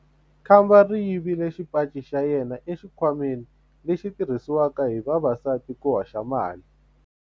Khamba ri yivile xipaci xa yena exikhwameni lexi xi tirhisiwaka hi vavasati ku hoxela mali.